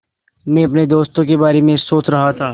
मैं अपने दोस्तों के बारे में सोच रहा था